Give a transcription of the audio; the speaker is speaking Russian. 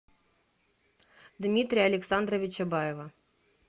дмитрия александровича баева